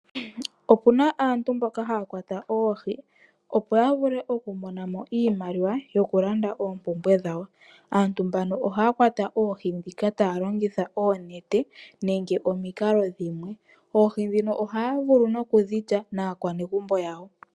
Okuna aantu mboka haya kwata oohi, opo yavule okumonamo iimaliwa yokulanda oompumbwe dhawo. Aantu mbano ohaya kwata oohi dhika taya longitha oonete nenge omikalo dhimwe. Oohi dhino ohaya vulu okudhi lya naakwanegumbo yawo.